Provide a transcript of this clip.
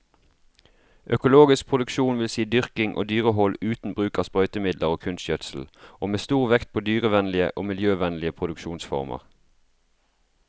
Økologisk produksjon vil si dyrking og dyrehold uten bruk av sprøytemidler og kunstgjødsel, og med stor vekt på dyrevennlige og miljøvennlige produksjonsformer.